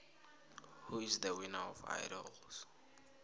who is the winner of idols